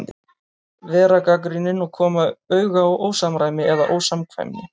Vera gagnrýnin og koma auga á ósamræmi eða ósamkvæmni.